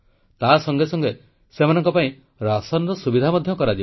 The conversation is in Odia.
ତାସଙ୍ଗେ ସଙ୍ଗେ ସେମାନଙ୍କ ପାଇଁ ରାସନର ସୁବିଧା ମଧ୍ୟ କରାଯିବ